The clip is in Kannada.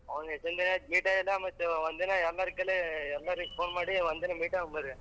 ಅವಂದ್ ಎಷ್ಟೊಂದ್ ದಿನಾ ಆಯ್ತು meet ಆಗಿಲ್ಲ ಮತ್ತೆ ಒಂದಿನ phone ಮಾಡಿ ಒಂದ್ ದಿನ meet ಆಗೋಣ ಬರ್ರಿ.